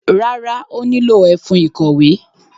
Rárá, ó nílò ẹfun ìkọ̀wé.